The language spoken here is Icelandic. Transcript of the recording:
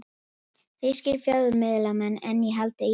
Þýskir fjölmiðlamenn enn í haldi Írana